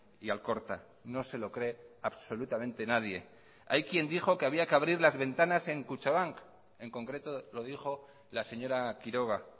y alcorta no se lo cree absolutamente nadie hay quien dijo que habría que abrir las ventanas en kutxabank en concreto lo dijo la señora quiroga